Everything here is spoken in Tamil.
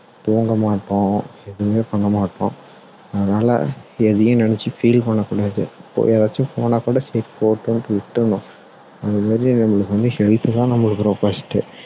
தூங்க மாட்டோம் எதுவுமே பண்ண மாட்டோம் அதனால எதையும் நினைச்சி feel பண்ண கூடாது இப்போ யாராச்சும் போனா கூட சரி போகட்டும்னு விட்டுரணும் அந்த மாதிரி நம்மளுக்கு வந்து health தான் நம்மளுக்கு first டு